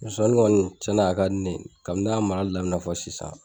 Zonzannin kɔni tiɲɛna a ka di ne ye, kabi ne y'a marali daminɛ fɔ sisan,